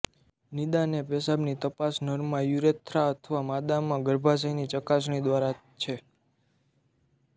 નિદાન એ પેશાબની તપાસ નર માં યુરેથ્રા અથવા માદામાં ગર્ભાશયની ચકાસણી દ્વારા છે